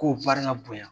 Ko barika bonya